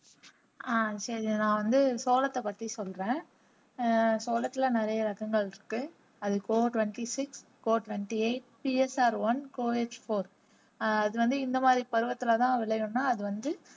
ஆஹ் சரி நான் வந்து சோளத்தை பற்றி சொல்றேன் சோளத்துல நிறைய ரகங்கள் இருக்கு அது போக twenty six four twenty eight B S R one four H four அது வந்து இந்த மாறி பருவத்துல தான் விளையும்ன்னா அது வந்து